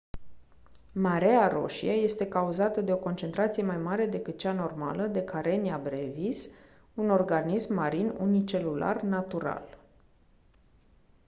mareea roșie este cauzată de o concentrație mai mare decât cea normală de karenia brevis un organism marin unicelular natural